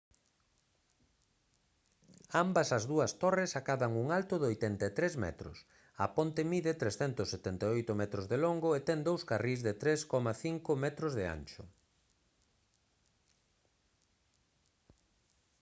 ambas as dúas torres acadan un alto de 83 metros a ponte mide 378 metros de longo e ten dous carrís de 3,50 m de ancho